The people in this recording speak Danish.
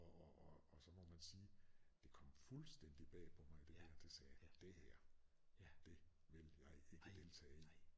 Og og så må man sige det kom fuldstændigt bag på mig at det her det sagde jeg det her det vil jeg ikke deltage i